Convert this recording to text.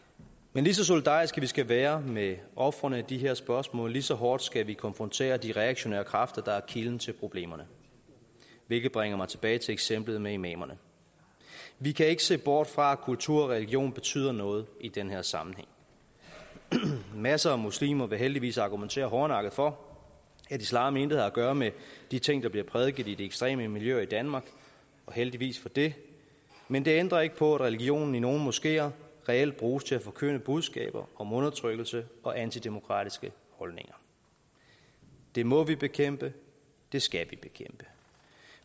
men lige så solidariske vi skal være med ofrene i de her spørgsmål lige så hårdt skal vi konfrontere de reaktionære kræfter der er kilden til problemerne hvilket bringer mig tilbage til eksemplet med imamerne vi kan ikke se bort fra at kultur og religion betyder noget i den her sammenhæng masser af muslimer vil heldigvis argumentere hårdnakket for at islam intet har at gøre med de ting der bliver prædiket i de ekstreme miljøer i danmark og heldigvis for det men det ændrer ikke på at religionen i nogle moskeer reelt bruges til at forkynde budskaber om undertrykkelse og antidemokratiske holdninger det må vi bekæmpe det skal vi bekæmpe